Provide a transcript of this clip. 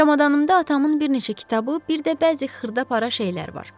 Çamadanımda atamın bir neçə kitabı, bir də bəzi xırda-para şeylər var.